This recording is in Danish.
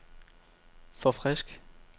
forfrisk